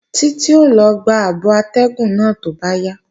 Títí ó lọ gba abọ atẹ́gùn náà tó bá yá